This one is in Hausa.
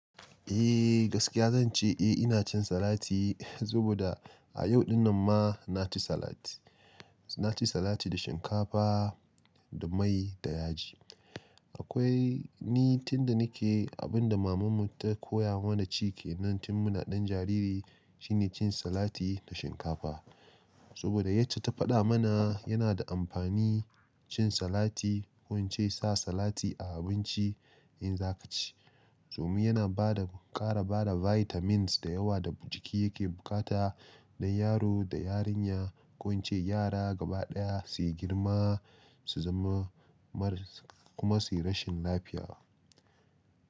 Eh gaskiya zan ce eh ina cin salati, saboda a yau din nan ma na ci salati. Na ci salati da shinkafa da mai da yaji. Akwai ni tun da nike abinda maman mu ta koya mana ciki nan tin muna dan jariri shine cin salati da shinkafa. Saboda ita ta fada mana yana da amfani cin salati ko ince sa salati a abinci in zaka ci. Domin yana bada, kara bada vitamins da yawa da jiki yake bukata dan yaro da yarinya ko ince yara gaba daya su yi girma su zama marasa kuma su yi rashin lafiya.